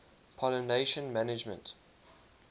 pollination management